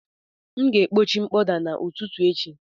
M ga-ekpochi mkpọda a n'ụtụtụ echi